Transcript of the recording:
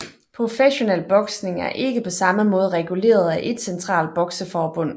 Professionel boksning er ikke på samme måde reguleret af ét centralt bokseforbund